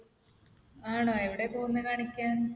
ആണോ? എവിടെയാ പോകുന്നെ കാണിക്കാൻ?